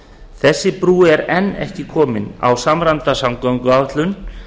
þessi brú er enn ekki komin á samræmda samgönguáætlun